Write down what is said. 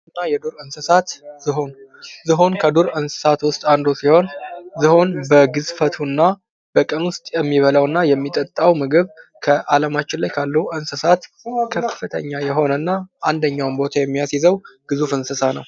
የቤት እና የዱር እንስሣት ዝሆን ዝሆን ከዱር እንሣት አንዱ ሲሆን ዝሆን በግዝፈቱ እና በቀን ዉስጥ የሚበላው እና የሚጠጣው ምግብ ከአለማችን ላይ ካለው እንስሣት ከፍተኛ የሆነ እና አንደኛውን ቦታ የሚያሲዘው ግዙፍ የሆነው እንስሣ ነው።